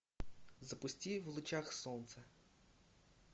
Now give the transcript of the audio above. запусти в лучах солнца